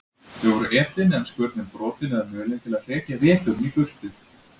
Þau voru etin, en skurnin brotin eða mulin til að hrekja veturinn í burtu.